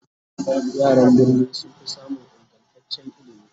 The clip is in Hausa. yaran birni sunfi samun ingantaccen ilimi